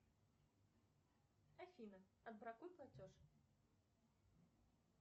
афина отбракуй платеж